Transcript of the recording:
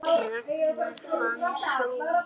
Ragnar Hansson